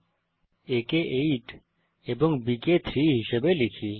a কে 8 এবং b কে 3 হিসাবে লিখি